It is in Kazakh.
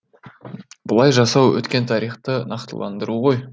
бұлай жасау өткен тарихты нақтыландыру ғой